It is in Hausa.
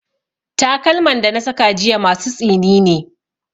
Takalman da na saka jiya masu tsini ne.